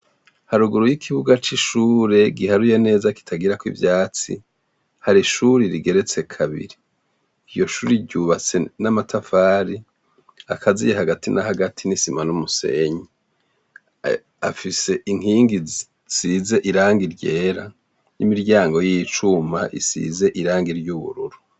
Haruguru y'ikibuga c'ishure, giharuye neza kitagira ivyatsi, hari ishure rigeretse kabiri. Iryo shure ryubatse n'amatafari, akaziye hagati na hagati n'isima n'umusenyi. Afise inkingi zisize irangi ryera, n'imiryango y'icuma isize irangi ry'ubururu.